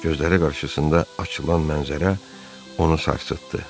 Gözləri qarşısında açılan mənzərə onu sarsıtdı.